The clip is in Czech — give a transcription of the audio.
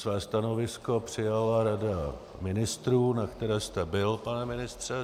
Své stanovisko přijala Rada ministrů, na které jste byl, pane ministře.